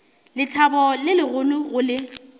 lethabo le legolo go le